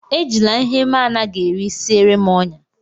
Ejila ihe m anaghị eri siere m ọnyá!